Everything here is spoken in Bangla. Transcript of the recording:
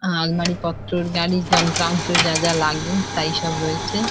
আলমারিপত্র গাড়ির যন্ত্রাংশ যা যা লাগে তাই সব রয়েছে।